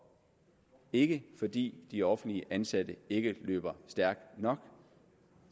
ikke fordi de offentligt ansatte ikke løber stærkt nok